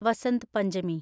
Vasant Panchami